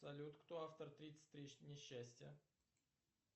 салют кто автор тридцать три несчастья